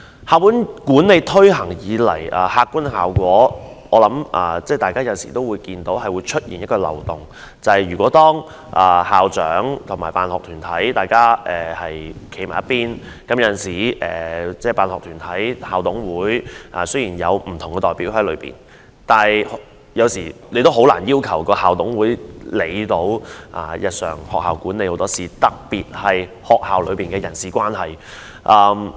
校本管理制度自推行以來，其客觀效果是出現漏洞，就是當校長及辦學團體站在同一陣線，辦學團體雖然有代表在校董會內，但很難要求校董會能夠處理學校很多日常事務，特別是校內的人事關係。